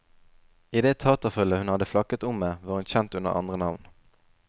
I det taterfølget hun hadde flakket om med, var hun kjent under andre navn.